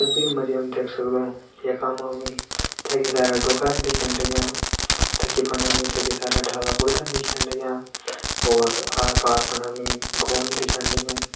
तस्वीर मा जी हम देख सगदों कि यखमा हमि छकी सारा डोखरान दिखेण लाग्यां तखि फंडा हमि छकी सारा डाला बुर्थन दिख्येण लग्यां और आर पार फुंड हमि गों दिख्येण लग्युं।